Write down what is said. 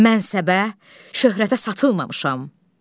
Mən səbə, şöhrətə satılmamışam.